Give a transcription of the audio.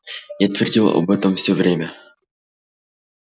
я твердил об этом всё время